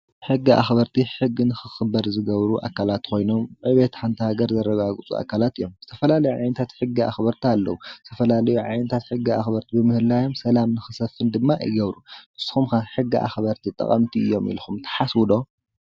ሕጊ ኣኽበርቲ ሕጊ ንኽኽበር ዝገብሩ ኣካላት ኾይኖም ንዕብየት ሓንቲ ሃገር ዘረጋግፁ ኣካላት እዮም፡፡ ዝተፈላለዩ ዓይነታት ሕጊ ኣኽበርቲ ኣለው፡፡ ዝተፈላለዩ ዓይነታት ሕጊ ኣኽበርቲ ብምህላዮም ሰላም ንኽሰፍን ድማ ይገብሩ፡፡ ንስኹም ከ ሕጊ ኣኽበርቲ ጠቐምቲ እዮም ኢልኹም ትሓስቡ ዶ?